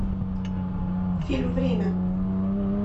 фильм время